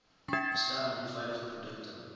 beskerm onveilige produkte